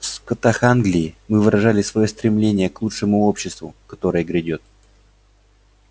в скотах англии мы выражали своё стремление к лучшему обществу которое грядёт